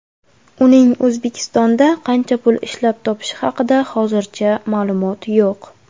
Uning O‘zbekistonda qancha pul ishlab topishi haqida hozircha ma’lumot yo‘q.